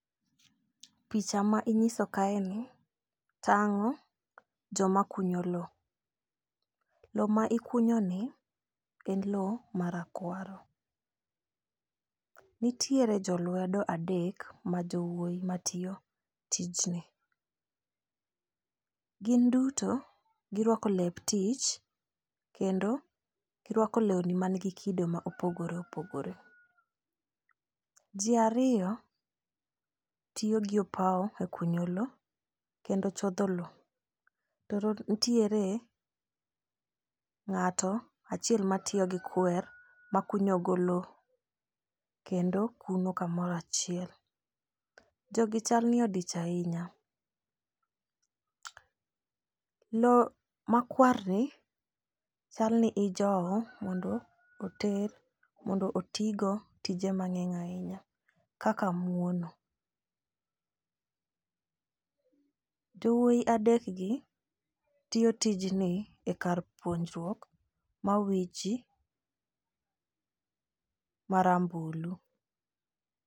picha ma inyiso kae ni tang'o joma kunyo loo. Loo ma ikunyo ni en loo marakwaro. Nitiere jolwedo adek ma jowuoyi matiyo tijni. Gin duto girwako lep tich kendo girwako lewni manigi kido ma opogore opogore. Jii ariyo tiyo gi opawo e kunyo loo kendo chodho loo to ntiere ng'ato achiel ma tiyo gi kwer makunyo go loo kendo kuno kamorachiel. Jogi chal ni odich ahinya . Loo makwar ni chal ni ijowo mondo oter mondo otii go tije mang'eny ahinya kaka muono. Jowuoyi adek gi tiyo tijni e kar puonjruok ma owichi marambulu.